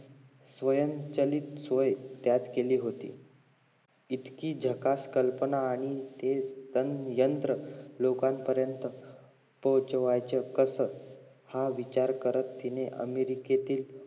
स्वयंचलित सोय त्यात केली होती इतकी झकास कल्पना आणि ते यंत्र लोकांपर्यंत पोहचवायचं कसं हा विचार करत तिने अमेरिकेतील